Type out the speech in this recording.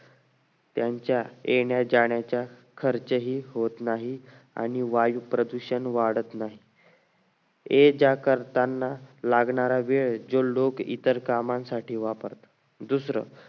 त्यांचा येण्या जाण्याचा खर्चही होत नाही आणि वायू प्रदूषण वाढत नाही ये जा करताना लागणारा वेळ जे लोक इतर कामांसाठी वापरतात दुसरं